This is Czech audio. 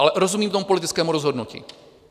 Ale rozumím tomu politickému rozhodnutí.